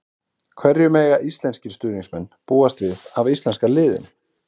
Hverju mega íslenskir stuðningsmenn búast við af íslenska liðinu?